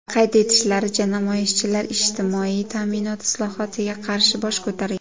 Qayd etishlaricha, namoyishchilar ijtimoiy ta’minot islohotiga qarshi bosh ko‘targan.